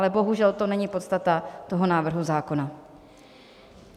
Ale bohužel to není podstata toho návrhu zákona.